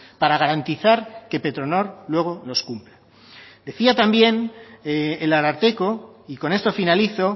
para garantizar que petronor luego los cumpla decía también el ararteko y con esto finalizo